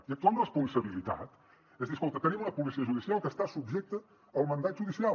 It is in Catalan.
i actuar amb responsabilitat és dir escolta tenim una policia judicial que està subjecta al mandat judicial